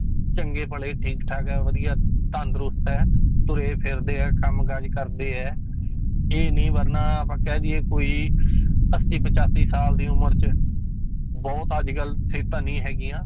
ਚੰਗੇ ਭਲੇ ਠੀਕ ਠਾਕ ਆ ਵਧੀਆ ਤੰਦਰੁਸਤ ਹੈ, ਤੁਰੇ ਫਿਰਦੇ ਹੈ ਕੰਮ ਕਾਜ ਕਰਦੇ ਹੈ ਇਹ ਨੀ ਵਰਨਾ ਆਪਾਂ ਕਹਿ ਦੇਈਏ ਕੋਈ ਅੱਸੀ ਪਚਾਸੀ ਸਾਲ ਦੀ ਉਮਰ 'ਚ ਬਹੁਤ ਅੱਜ ਕੱਲ੍ਹ ਸਿਹਤਾਂ ਨਹੀਂ ਹੈਗੀਆਂ